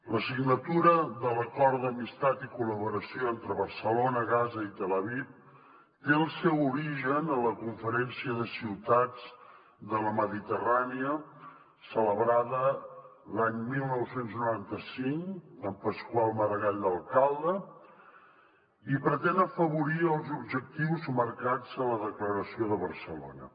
la signatura de l’acord d’amistat i col·laboració entre barcelona gaza i tel aviv té el seu origen en la conferència de ciutats de la mediterrània celebrada l’any dinou noranta cinc amb pasqual maragall d’alcalde i pretén afavorir els objectius marcats a la declaració de barcelona